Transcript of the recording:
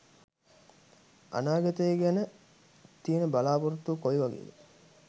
අනාගතය ගැන තියෙන බලා‍පොරොත්තුව කොයි වගේද?